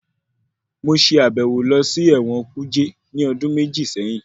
Mo ṣe àbẹ̀wò lọ sí ẹ̀wọ̀n kuje ní ọdún méjì séyín.